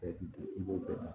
i b'o bɛɛ ta